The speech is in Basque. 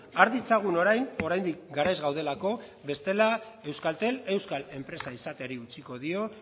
har ditzagun orain oraindik garaiz gaudelako bestela euskaltel euskal enpresa izateari utziko dio